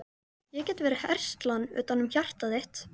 Ég get verið herslan utanum hjartað þitt.